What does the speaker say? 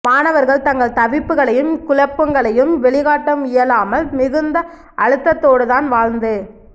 மாணவர்கள் தங்கள் தவிப்புகளையும் குழப்பங்களையும் வெளிக்காட்ட இயலாமல் மிகுந்த அழுத்தத்தோடுதான் வாழ்ந்து